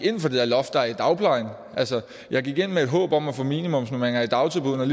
ind for det loft der er i dagplejen jeg gik ind med et håb om at få minimumsnormering i dagtilbuddene